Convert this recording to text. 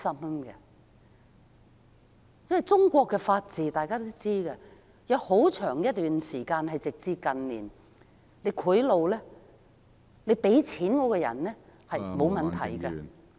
大家都知道，在中國，有很長一段時間，直至近年，行賄是沒有問題的......